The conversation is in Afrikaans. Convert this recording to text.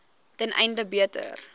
ten einde beter